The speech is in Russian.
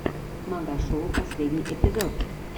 магашоу последний эпизод